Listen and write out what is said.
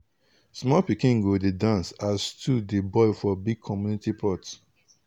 small pikin go dey dance as stew dey boil for big community pot.